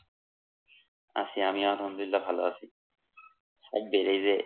আছি আমিও আলহামদুলিল্লাহ ভালো আছি। সাব্বির এই যে